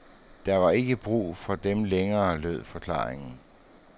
Der var ikke brug for dem længere, lød forklaringen.